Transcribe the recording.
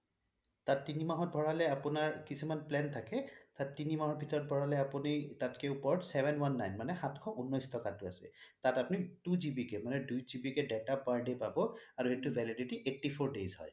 তাত তিনি মাহৰ ভৰালে আপোনাৰ কিছুমান plan থাকে তাত তিনি মাহৰ ভিতৰত ভোৰালে আপুনি তাতকে ওপৰত seven one nine মানে সাতখ উন্নচ টকা টো আছে তাত আপুনি two GB মানে দুই GB কে আপুনি data per day পাব আৰু সেইটোৰ validity eighty four days হয়